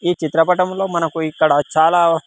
ఈ చిత్రపటంలో మనకు ఇక్కడ చాలా.